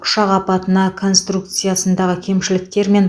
ұшақ апатына конструкциясындағы кемшіліктер мен